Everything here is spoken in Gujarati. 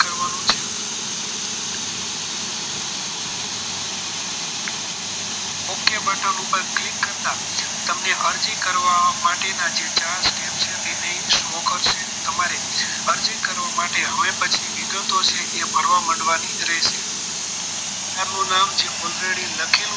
Okey બટન ઉપર click કરતા તમને અરજી કરવા માટે ના ચાર step છે તે અહીં શો કરશે તમારે અરજી કરવા માટે હવે પછી વિગતો છે એ ભરવા મંડવાની રહેશે તમારું નામ already લખેલું છે